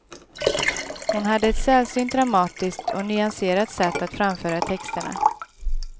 Hon hade ett sällsynt dramatiskt och nyanserat sätt att framföra texterna.